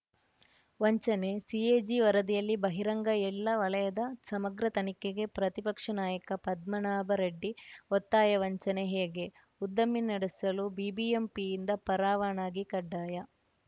ವಂಚನೆ ಸಿಎಜಿ ವರದಿಯಲ್ಲಿ ಬಹಿರಂಗ ಎಲ್ಲ ವಲಯದ ಸಮಗ್ರ ತನಿಖೆಗೆ ಪ್ರತಿಪಕ್ಷ ನಾಯಕ ಪದ್ಮಾನಾಭರೆಡ್ಡಿ ಒತ್ತಾಯ ವಂಚನೆ ಹೇಗೆ ಉದ್ದಮೆ ನಡೆಸಲು ಬಿಬಿಎಂಪಿಯಿಂದ ಪರಾವನಾಗಿ ಕಡ್ಡಾಯ